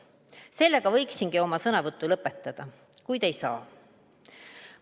Sellega võiksingi oma sõnavõtu lõpetada, kuid ei saa.